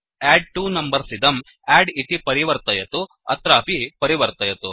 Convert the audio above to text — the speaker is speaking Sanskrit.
एडट्वोनम्बर्स इदं अद्द् इति परिवर्तयतु160 अत्रापि परिवर्तयतु